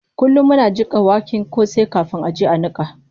Kullum muna jiƙa waken kosai kafin a je a niƙa.